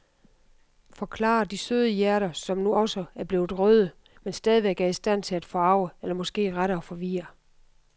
Forklarer de søde hjerter, som nu også er blevet røde, men stadigvæk er i stand til at forarge eller måske rettere forvirre.